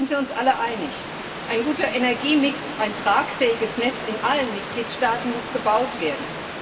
Da sind wir uns alle einig Ein guter Energiemix, ein tragfähiges Netz in allen Mitgliedstaaten muss gebaut werden.